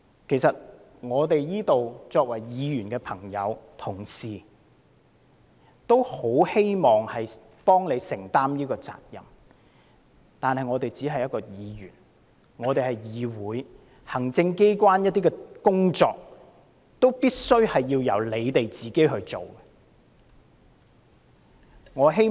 在座不少議員同事也希望協助政府，承擔責任，但我們只是議員，立法會是一個議會，行政機關的工作始終須交由政府官員執行。